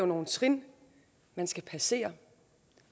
nogle trin man skal passere